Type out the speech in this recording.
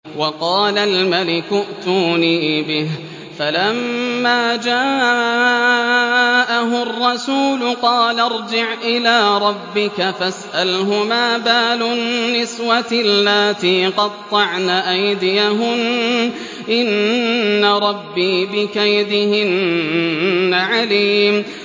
وَقَالَ الْمَلِكُ ائْتُونِي بِهِ ۖ فَلَمَّا جَاءَهُ الرَّسُولُ قَالَ ارْجِعْ إِلَىٰ رَبِّكَ فَاسْأَلْهُ مَا بَالُ النِّسْوَةِ اللَّاتِي قَطَّعْنَ أَيْدِيَهُنَّ ۚ إِنَّ رَبِّي بِكَيْدِهِنَّ عَلِيمٌ